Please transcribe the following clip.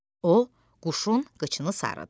O quşun qıçını sarıdı.